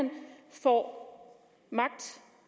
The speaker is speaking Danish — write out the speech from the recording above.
får magt